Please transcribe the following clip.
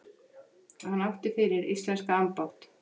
Hann átti fyrir íslenska ambátt